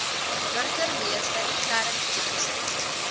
burgemeester clarence johnson